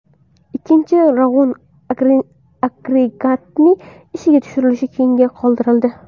Ikkinchi Rog‘un agregatining ishga tushirilishi keyinga qoldirildi.